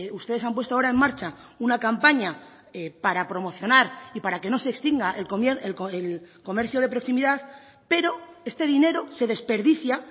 ustedes han puesto ahora en marcha una campaña para promocionar y para que no se extinga el comercio de proximidad pero este dinero se desperdicia